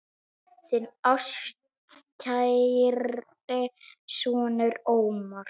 Þinn ástkæri sonur, Ómar.